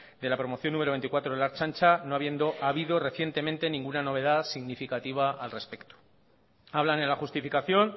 de la promoción número veinticuatro de la ertzaintza no habiendo habido recientemente ninguna novedad significativa al respecto hablan en la justificación